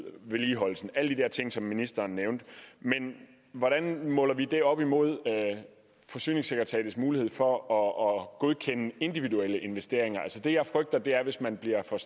vedligeholdelsen alle de der ting som ministeren nævnte men hvordan måler vi det op imod forsyningssekretariatets mulighed for at godkende individuelle investeringer altså det jeg frygter er hvis man bliver for